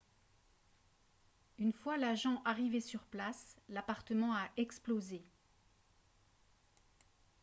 une fois l'agent arrivé sur place l'appartement a explosé